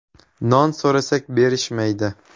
“Non so‘rasak, berishmaydi.